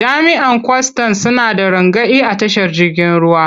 Jami'an kwastan suna da rangadi a tashar jirgin ruwa.